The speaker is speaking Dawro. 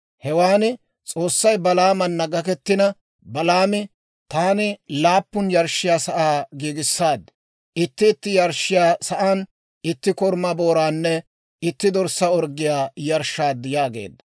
Hewaan S'oossay Balaamana gakettina Balaami, «Taani laappun yarshshiyaa sa'aa giigissaad; itti itti yarshshiyaa sa'aan itti korumaa booraanne itti dorssaa orggiyaa yarshshaad» yaageedda.